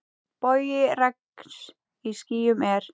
Bogi regns í skýjum er.